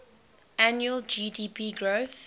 annual gdp growth